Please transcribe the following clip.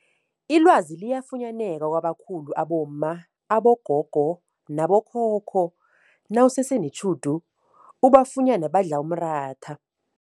Ilwazi liyafunyaneka kwabakhulu abomma, abogogo nabo khokho nawusese netjhudu ubafunyene badla umratha.